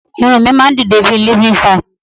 Irun mi máa n dide bi living vines